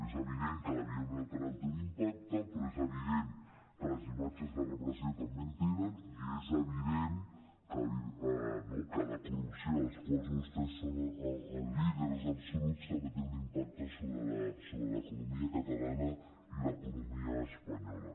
és evident que la via uni·lateral té un impacte però és evident que les imatges de repressió també en tenen i és evident no que la corrupció de la qual vostès són els líders absoluts també té un impacte sobre l’economia catalana i l’economia espanyola